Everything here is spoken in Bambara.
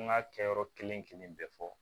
An ka kɛyɔrɔ kelen kelen bɛɛ fɔ